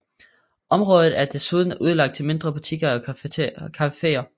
Området er desuden udlagt til mindre butikker og caféer